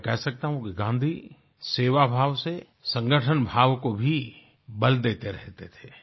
मैं कह सकता हूँ कि गाँधी सेवाभाव से संगठनभाव को भी बल देते रहते थे